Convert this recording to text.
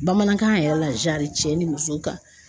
Bamanankan yɛrɛ la cɛ ni muso ka